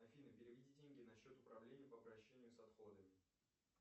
афина переведи деньги на счет управления по обращению с отходами